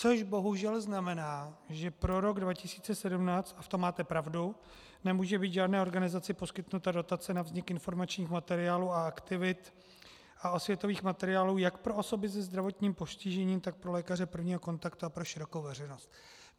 Což bohužel znamená, že pro rok 2017, a v tom máte pravdu, nemůže být žádné organizaci poskytnuta dotace na vznik informačních materiálů a aktivit a osvětových materiálů jak pro osoby se zdravotním postižením, tak pro lékaře prvního kontaktu a pro širokou veřejnost.